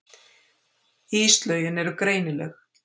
Íslögin eru greinileg.